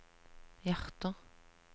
hjerter